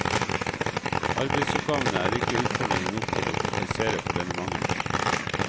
Arbeidsoppgavene er ikke utfordrende nok til å kompensere for denne mangelen.